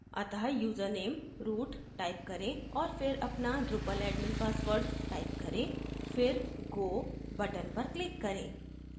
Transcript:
अतः username root type करें और फिर अपना drupal admin password type करें फिर go button पर click करें